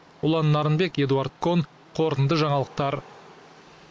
ұлан нарынбек эдуард кон қорытынды жаңалықтар